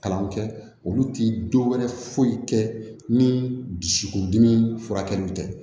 Kalanw kɛ olu ti dɔ wɛrɛ foyi kɛ ni dusukun dimi furakɛliw tɛ